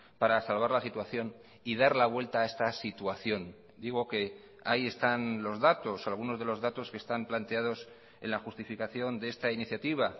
para salvar la situación y dar la vuelta a esta situación digo que ahí están los datos algunos de los datos que están planteados en la justificación de esta iniciativa